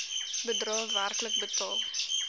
bedrae werklik betaal